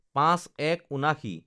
০৫/১১/৭৯